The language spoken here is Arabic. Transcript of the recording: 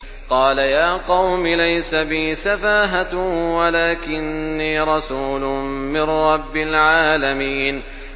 قَالَ يَا قَوْمِ لَيْسَ بِي سَفَاهَةٌ وَلَٰكِنِّي رَسُولٌ مِّن رَّبِّ الْعَالَمِينَ